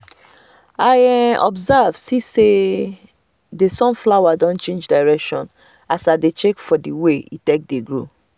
i observe see say the sunflower don change direction as i dey check for the way e take dey grow